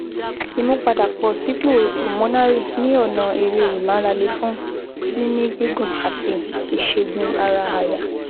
Ìmúpadàbọ̀sípò Pulmonary ní ọ̀nà eré ìmárale fún mímí gígùn àti ìṣègùn ara àyà